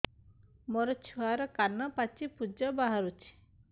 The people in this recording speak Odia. ମୋ ଛୁଆର କାନ ପାଚି ପୁଜ ବାହାରୁଛି